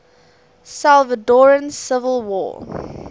salvadoran civil war